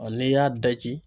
n'i y'a daji.